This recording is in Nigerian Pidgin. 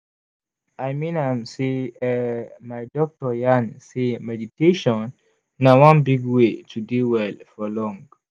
i mean am sey eh my doctor yarn sey meditation na one big way to dey well for long.